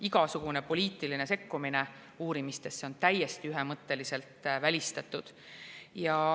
Igasugune poliitiline sekkumine uurimistesse on täiesti ühemõtteliselt välistatud.